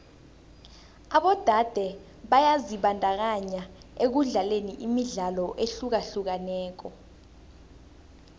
abodade byazibandakanya ekudlaleni imidlalo ehlukahlukeneko